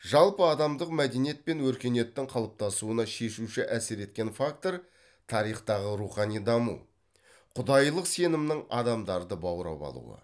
жалпыадамдық мәдениет пен өркениеттің қалыптасуына шешуші әсер еткен фактор тарихтағы рухани даму құдайлық сенімнің адамдарды баурап алуы